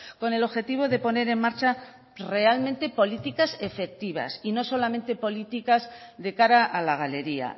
con el objetivo de poner en marcha realmente políticas efectivas y no solamente políticas de cara a la galería